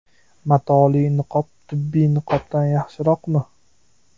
Matoli niqob tibbiy niqobdan yaxshiroqmi?